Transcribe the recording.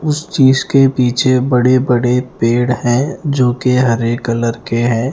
उस चीज के पीछे बड़े-बड़े पेड़ है जो कि हरे कलर के हैं।